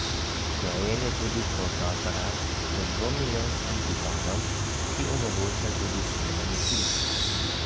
Vgrajen je tudi fotoaparat z dvomilijonskim tipalom, ki omogoča tudi snemanje filmov.